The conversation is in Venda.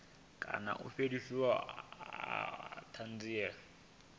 kana u fheliswa ha thanziela